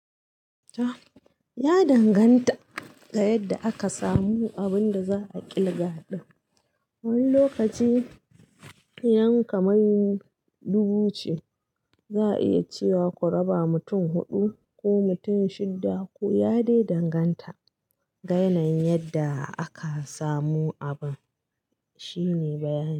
Ya danganta da yadda aka samu abun da za a ƙilga. Wani lokaci iyan kamar dubu ce za a iya cewa ku raba mutum huɗu ko mutum shidda ko ya dai danganta ga yanan yadda aka samu abun. Shi ne bayani.